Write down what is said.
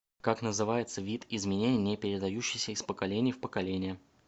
как называется вид изменений не передающийся из поколения в поколение